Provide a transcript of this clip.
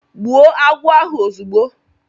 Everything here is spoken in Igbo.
Gbụo agwọ ahụ ozugbo